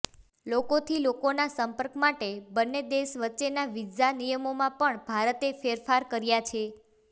લોકોથી લોકોનાં સંપર્ક માટે બંને દેશ વચ્ચેના વિઝા નિયમોમાં પણ ભારતે ફેરફાર કર્યા છે